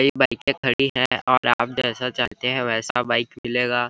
एक बाइकर खड़ी है और बाइक जैसा चलता है वैसा मिलेगा।